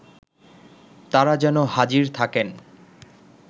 তারা যেন হাজির থাকেন